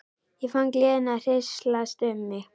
Ég fann gleðina hríslast um mig.